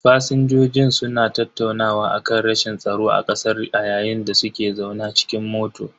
Fasinjojin suna tattaunawa akan rashin tsaro a kasar a yayin da suke zaune cikin mota.